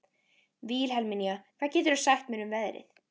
Vilhelmína, hvað geturðu sagt mér um veðrið?